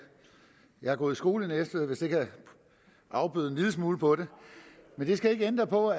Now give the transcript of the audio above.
jeg har gået i skole i næstved hvis det kan afbøde en lille smule på det men det skal ikke ændre på